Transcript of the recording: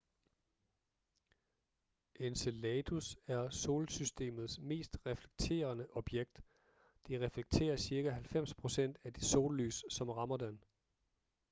enceladus er solsystemets mest reflekterende objekt det reflekterer cirka 90 procent af det sollys som rammer den